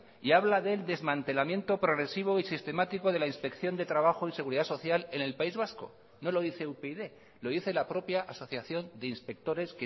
y habla del desmantelamiento progresivo y sistemático de la inspección de trabajo y seguridad social en el país vasco no lo dice upyd lo dice la propia asociación de inspectores